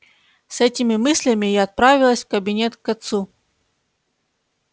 с этими мыслями я отправилась в кабинет к отцу